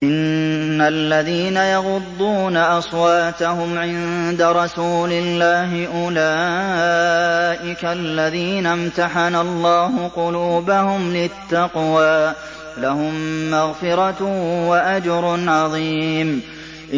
إِنَّ الَّذِينَ يَغُضُّونَ أَصْوَاتَهُمْ عِندَ رَسُولِ اللَّهِ أُولَٰئِكَ الَّذِينَ امْتَحَنَ اللَّهُ قُلُوبَهُمْ لِلتَّقْوَىٰ ۚ لَهُم مَّغْفِرَةٌ وَأَجْرٌ عَظِيمٌ